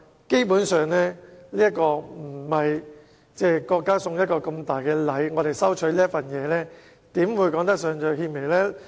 基本上，我們收取國家送我們的一份大禮，怎說得上是獻媚？